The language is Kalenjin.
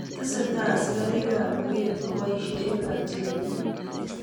Tesetai asikariik ap luget kopaishee eng Niger